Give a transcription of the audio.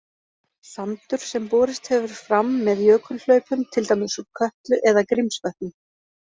Sandur sem borist hefur fram með jökulhlaupum, til dæmis úr Kötlu eða Grímsvötnum.